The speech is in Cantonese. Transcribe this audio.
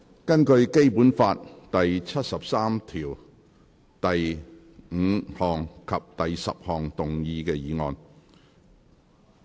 根據《基本法》第七十三條第五項及第十項動議的議案。